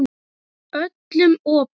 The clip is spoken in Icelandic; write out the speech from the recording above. Öllum opið.